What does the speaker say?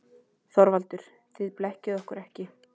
ÞORVALDUR: Þið blekkið okkur ekki.